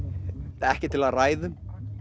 ekki til að ræða um